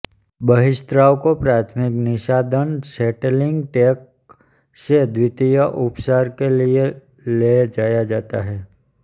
बहिःस्राव को प्राथमिक निःसादन सेटलिंग टैंक से द्वितीयक उपचार के लिए ले जाया जाता है